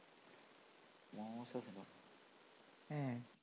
അഹ്